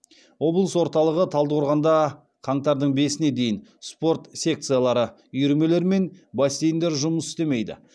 облыс орталығы талдықорғанда қаңтардың бесіне дейін спорт секциялары үйірмелер мен бассейндер жұмыс істемейді